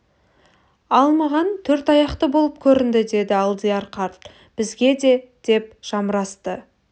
ал маған төрт аяқты болып көрінді деді алдияр қарт бізге де деп жамырасты